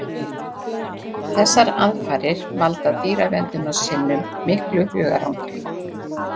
Þessar aðfarir valda dýraverndunarsinnum miklu hugarangri.